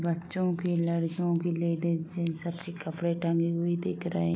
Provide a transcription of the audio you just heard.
बच्चो के लड़िकियो के लिए डिज़ाइन सस्ते कपड़े टंगे हुए दिख रहे --